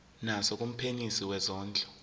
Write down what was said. naso kumphenyisisi wezondlo